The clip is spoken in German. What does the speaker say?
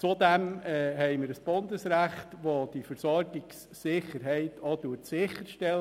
Zudem haben wir ein Bundesrecht, welches die Versorgungssicherheit gewährleistet.